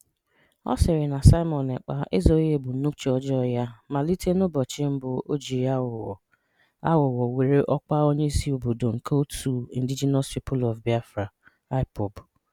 Ọ̀ sịrị̀ na Simon Ekpà ezoghị́ ebòmnòbì ọ̀jọọ yà malìtè n’ùbọ̀chị̀ mb̀ụ̀ ọ̀ jì àghụ̀ghọ̀ àghụ̀ghọ̀ wèrè ọ́kwà Ọ̀ǹyeìsí Ọbòdò nke otu Indigenous People of Biafra (IPOB)